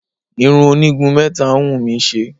Irun onígun mẹ́ta ń wù mí ṣe.